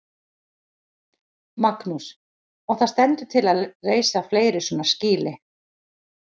Magnús: Og það stendur til að reisa fleiri svona skýli?